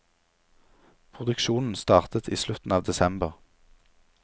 Produksjonen startet i slutten av desember.